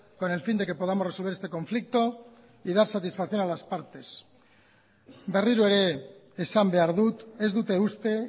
con el fin de que podamos resolver este conflicto y dar satisfacción a las partes berriro ere esan behar dut ez dute uste